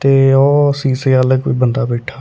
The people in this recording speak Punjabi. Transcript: ਅ ਅ ਅ ਸ਼ੀਸ਼ੇ ਵਾਲਾ ਕੋਈ ਬੰਦਾ ਬੈਠਾ।